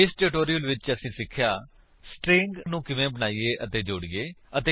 ਇਸ ਟਿਊਟੋਰਿਲ ਵਿੱਚ ਅਸੀਂ ਸਿੱਖਿਆ ਸਟਰਿੰਗ ਨੂੰ ਕਿਵੇਂ ਬਣਾਈਏ ਅਤੇ ਜੋੜੀਏ